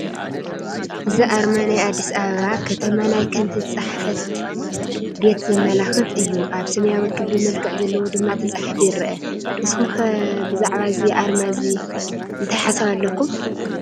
እዚ ኣርማ ናይ ኣዲስ ኣበባ ከተማ ናይ ከንቲ ፃሕፈት ቤት ዘመላኽት እዩ፡፡ ኣብ ሰማያዊ ክቢ መልክዕ ዘለዎ ድማ ተፃሒፉ ይረአ፡፡ ንስኹም ከ ብዛዕባ እዚ ኣርማ እዚ እንታይ ሓሳብ ኣለኩም?